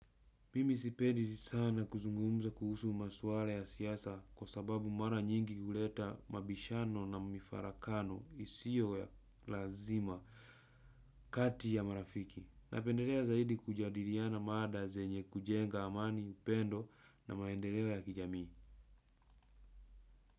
Mimisi pedi sana kuzungumza kuhusu maswala ya siyasa kwa sababu mara nyingi huleta mabishano na mifarakano isio ya lazima kati ya marafiki. Napendelea zaidi kujadiriana maada zenye kujenga amani upendo na maendelewa ya kijamii.